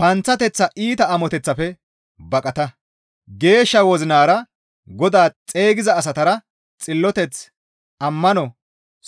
Panththateththa iita amoteththafe baqata; geeshsha wozinara Godaa xeygiza asatara xilloteth, ammano,